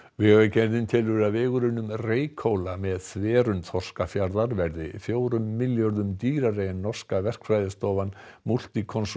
vegagerðin telur að vegur um Reykhóla með þverun Þorskafjarðar verði fjórum milljörðum dýrari en norska verkfræðistofan Multiconsult